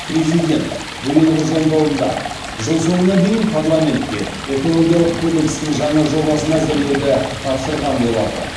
президент биылғы жолдауында жыл соңына дейін парламентке экологиялық кодекстің жаңа жобасын әзірлеуді тапсырған болатын